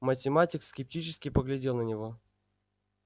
математик скептически поглядел на него